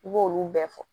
I b'olu bɛɛ fɔ